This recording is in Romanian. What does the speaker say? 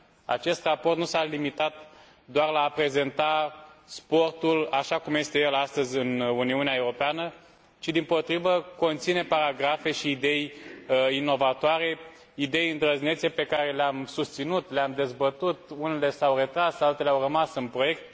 Acest raport nu s a limitat doar la a prezenta sportul așa cum este el astăzi în Uniunea Europeană, ci dimpotrivă, conține paragrafe și idei inovatoare, idei îndrăznețe pe care le am susținut, le am dezbătut, unele s au retras, altele au rămas în proiect.